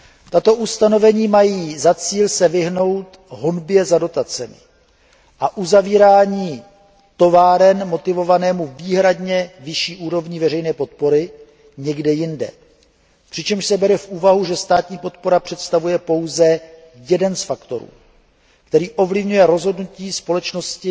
Tato ustanovení mají za cíl vyhnout se honbě za dotacemi a uzavírání továren motivovanému výhradně vyšší úrovní veřejné podpory někde jinde, přičemž se bere v úvahu, že státní podpora představuje pouze jeden z faktorů, který ovlivňuje rozhodnutí společnosti